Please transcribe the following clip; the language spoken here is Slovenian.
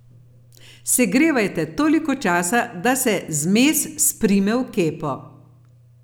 Segrevajte toliko časa, da se zmes sprime v kepo.